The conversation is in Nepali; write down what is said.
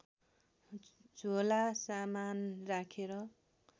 झोला सामान राखेर